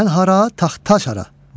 Mən hara, taxta hara.